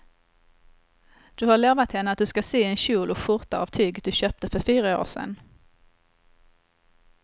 Du har lovat henne att du ska sy en kjol och skjorta av tyget du köpte för fyra år sedan.